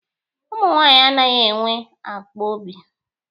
Ụmụ nwaanyị anaghị enwe akpọ obi.